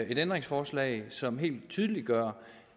et ændringsforslag som helt tydeliggør